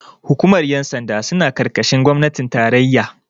hukumar yansanda suna karkashin gwamnatin tarayya